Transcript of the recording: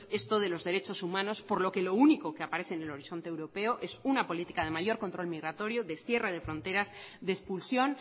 esto de los derechos humanos por lo que lo único que aparece en el horizonte europeo es una política de mayor control migratorio de cierre de fronteras de expulsión